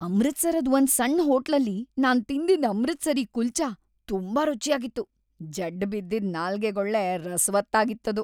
ಅಮೃತ್ಸರದ್ ಒಂದ್ ಸಣ್ಣ್ ಹೋಟ್ಲಲ್ಲಿ ನಾನ್‌ ತಿಂದಿದ್ ಅಮೃತ್ಸರೀ ಕುಲ್ಚಾ ತುಂಬಾ ರುಚ್ಯಾಗಿತ್ತು. ಜಡ್ಡ್‌ ಬಿದ್ದಿದ್‌ ನಾಲ್ಗೆಗೊಳ್ಳೆ ರಸವತ್ತಾಗಿತ್ತದು.